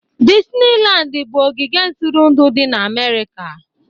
Disnilandi bụ ogige ntụrụndụ di na Amerika